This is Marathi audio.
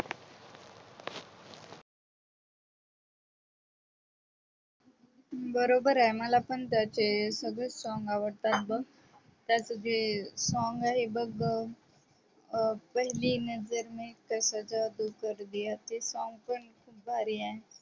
बरोबर आहे मला पण त्याचे सगळेच song आवडतात बघ त्याच song आहे बघ पहली नजर मे कैसा जादू कर दिया ते song पण भारी आहे